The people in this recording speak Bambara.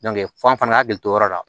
f'an fana ka hakili to o yɔrɔ la